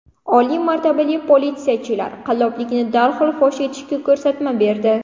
Oliy martabali politsiyachilar qalloblikni darhol fosh etishga ko‘rsatma berdi.